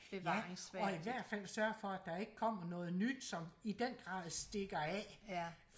ja og i hvert fald sørge for der ikke kommer noget nyt som i den grad stikker af